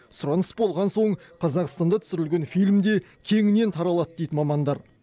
сұраныс болған соң қазақстанда түсірілген фильм де кеңінен таралады дейді мамандар